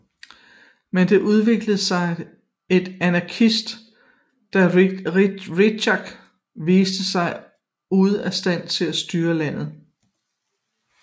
Men der udviklede sig et anarki da Richard viste sig ude af stand til styre landet